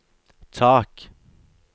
tak